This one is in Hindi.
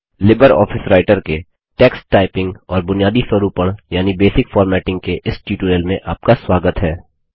लिबर ऑफिस राइटर के टेक्स्ट टाइपिंग और बुनियादी स्वरूपण यानि बेसिक फॉर्मेटिंग के इस ट्यूटोरियल में आपका स्वागत है